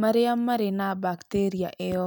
marĩa marĩ na bacteria ĩyo